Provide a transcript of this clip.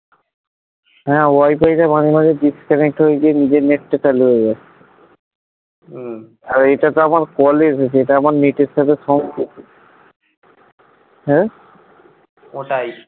হ্যাঁ wifi টা মাঝে মাঝে disconnect হয়ে গিয়ে নিজের net টা চালু হয়ে যাচ্ছে হম আর এটা তো আমার কল এর এটা আমার net এর হম ওটাই